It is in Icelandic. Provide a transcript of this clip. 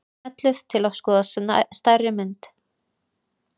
Smellið til að skoða stærri mynd.